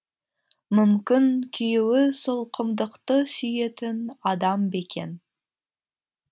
мүмкін күйеуі сылқымдықты сүйетін адам ба екен